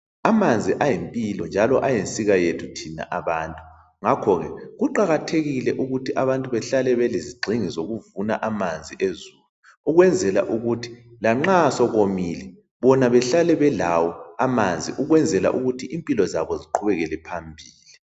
Amanzi ayimpilo njalo ayinsika yethu thina abantu. Ngakho ke kuqakathekile ukuthi abantu behlale belezigxingi zokuvuna amanzi ezulu. Ukwenzela ukuthi lanxa sekomile, bona bahlale belawo amanzi. Ukwenzela ukuthi impilo zabo ziqhubekele phambili.